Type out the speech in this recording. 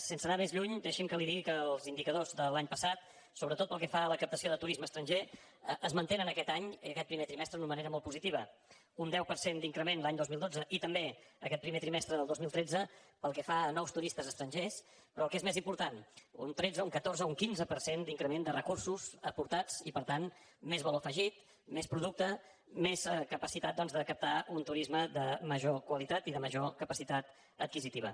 sense anar més lluny deixi’m que li digui que els indicadors de l’any passat sobretot pel que fa a la captació de turisme estranger es mantenen aquest any i aquest primer trimestre d’una manera molt positiva un deu per cent d’increment l’any dos mil dotze i també aquest primer trimestre del dos mil tretze pel que fa a nous turistes estrangers però el que és més important un tretze un catorze un quinze per cent d’increment de recursos aportats i per tant més valor afegit més producte més capacitat de captar un turisme de major qualitat i de major capacitat adquisitiva